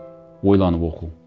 ойланып оқу